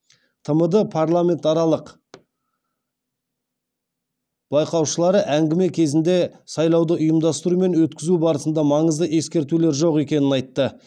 тмд парламент аралық байқаушылары әңгіме кезінде сайлауды ұйымдастыру мен өткізу барысында маңызды ескертулер жоқ екенін айтты